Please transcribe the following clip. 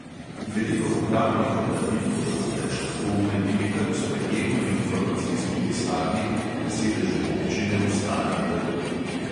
Veliko upravnih opravil bodo namreč lahko uredili kar v sprejemno-informacijski pisarni na sedežu občine v starem trgu.